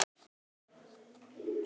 Holdið er stökkt.